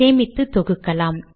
சேமித்து தொகுக்கலாம்